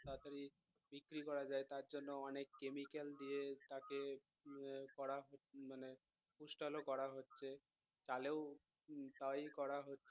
তাড়াতাড়ি বিক্রি করা যায় তারজন্য অনেক কেমিক্যাল দিয়ে তাকে আহ করা মানে পুস্টালো করা হচ্ছে টালেও তাই করা হচ্ছে